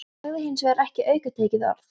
Hann sagði hins vegar ekki aukatekið orð.